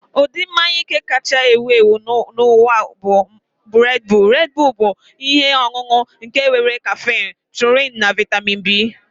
Ụdị mmanya ike kacha ewu ewu n'ụwa bụ Red Bull. Red Bull bụ ihe ọṅụṅụ ike nke nwere kaffine, taurine, na vitami B